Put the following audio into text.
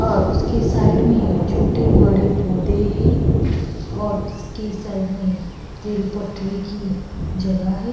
और उसके साइड मे छोटे बड़े पोधे है और उसके साइड में रेल पटरी की जगह है।